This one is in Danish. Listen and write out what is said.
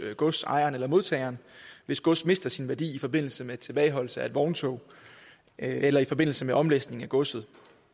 godsejeren eller modtageren hvis gods mister sin værdi i forbindelse med tilbageholdelse af et vogntog eller i forbindelse med omlæsning af godset